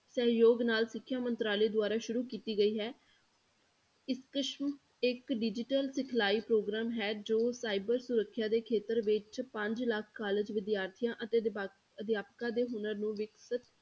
ਸਹਿਯੋਗ ਨਾਲ ਸਿੱਖਿਆ ਮੰਤਰਾਲੇ ਦੁਆਰਾ ਸ਼ੁਰੂ ਕੀਤੀ ਗਈ ਹੈ E ਸਕਸਮ ਇੱਕ digital ਸਿੱਖਲਾਈ ਪ੍ਰੋਗਰਾਮ ਹੈ ਜੋ cyber ਸੁਰੱਖਿਆ ਦੇ ਖੇਤਰ ਵਿੱਚ ਪੰਜ ਲੱਖ college ਵਿਦਿਆਰਥੀਆਂ ਅਤੇ ਅਧਿਆਪਕਾਂ ਦੇ ਹੁਨਰ ਨੂੰ ਵਿਕਸਿਤ